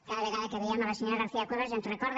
cada vegada que veiem la senyora garcia cuevas ens recorda